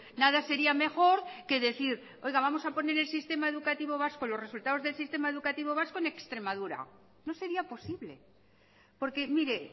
nada sería mejor que decir oiga vamos a poner el sistema educativo vasco los resultados del sistema educativo vasco en extremadura no sería posible porque mire